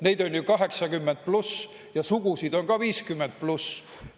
Neid on ju 80+ ja sugusid on ka 50+.